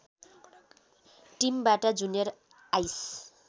टिमबाट junior ice